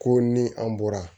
Ko ni an bɔra